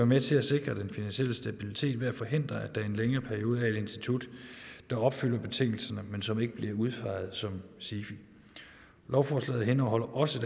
med til at sikre den finansielle stabilitet ved at forhindre at der i en længere periode institut der opfylder betingelserne men som ikke bliver udpeget som sifi lovforslaget indeholder også